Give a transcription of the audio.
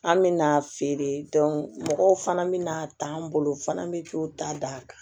An mina feere mɔgɔw fana bɛna a t'an bolo f'an bɛ k'o ta d'a kan